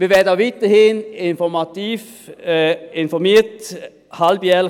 Wir werden auch weiterhin halbjährlich informativ mit dem Reporting informiert werden.